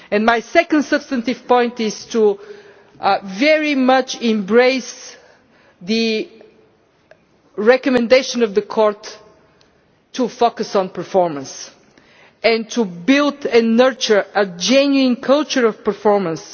My second substantive point is to very much embrace the recommendation of the Court to focus on performance and to build and nurture a genuine culture of performance.